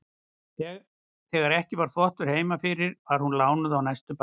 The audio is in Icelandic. Þegar ekki var þvottur heima fyrir var hún lánuð á næstu bæi.